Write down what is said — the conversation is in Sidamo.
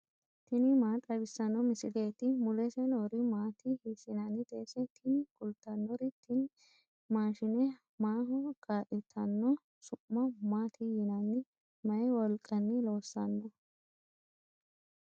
tini maa xawissanno misileeti ? mulese noori maati ? hiissinannite ise ? tini kultannori tini mashshine maaho kaa'litanno su'ma maati yinanni mayi wolqanni loossanno